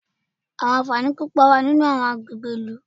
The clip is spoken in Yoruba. Àwọn ànfàní púpọ̀ wà ní àwọn agbègbè ìlú.